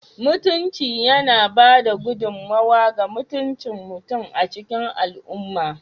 Mutunci yana ba da gudummawa ga mutuncin mutum a cikin al'umma